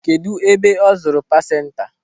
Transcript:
Kedụ ebe ọ zụrụ pansenta?